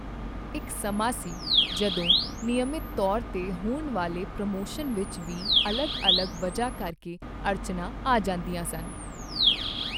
ਇੱਕ ਸਮਾਂ ਸੀ, ਜਦੋਂ ਨਿਯਮਿਤ ਤੌਰ ਤੇ ਹੋਣ ਵਾਲੇ ਪ੍ਰਮੋਸ਼ਨ ਵਿੱਚ ਵੀ ਅਲੱਗ ਅਲੱਗ ਵਜ੍ਹਾਂ ਕਰਕੇ ਅੜਚਣਾਂ ਆ ਜਾਂਦੀਆਂ ਸਨ।